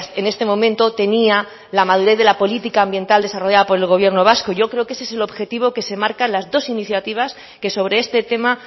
en este momento tenía la madurez de la política ambiental desarrollada por el gobierno vasco yo creo que ese es el objetivo que se marcan las dos iniciativas que sobre este tema